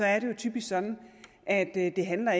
er det jo typisk sådan at det ikke handler